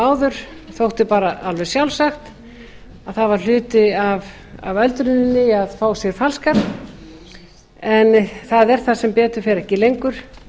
áður þótti bara alveg sjálfsagt það var hluti af öldruninni að fá sér falskar það er það sem betur fer ekki lengur